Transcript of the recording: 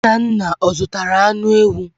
Nnanna ọ zụtara anụ ewu?